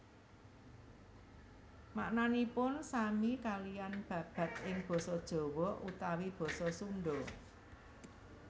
Maknanipun sami kaliyan babad ing basa Jawa utawi basa Sunda